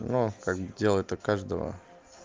ну как бы дело то каждого